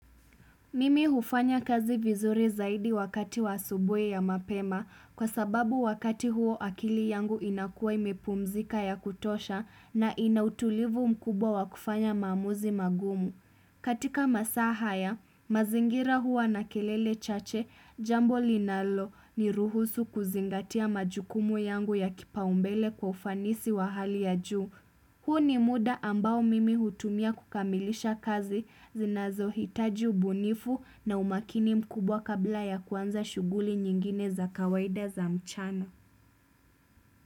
Mimi hufanya kazi vizuri zaidi wakati wa asubuhi ya mapema kwa sababu wakati huo akili yangu inakuwa imepumzika ya kutosha na inautulivu mkubwa wakufanya maamuzi magumu. Katika masaa haya, mazingira huwa na kelele chache jambo linalo niruhusu kuzingatia majukumu yangu ya kipaumbele kwa ufanisi wa hali ya juu. Huu ni muda ambao mimi hutumia kukamilisha kazi zinazohitaji ubunifu na umakini mkubwa kabla ya kuanza shughuli nyingine za kawaida za mchana.